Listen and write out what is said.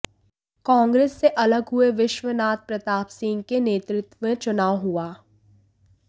कांग्रेस से अलग हुए विश्वनाथ प्रताप सिंह के नेतृत्व में चुनाव हुआ